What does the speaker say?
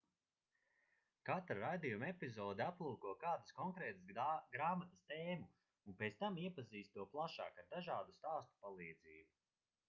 katra raidījuma epizode aplūko kādas konkrētas grāmatas tēmu un pēc tam iepazīst to plašāk ar dažādu stāstu palīdzību